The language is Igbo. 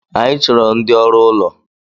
Anyi chọrọ ndi ọrụ ụlọ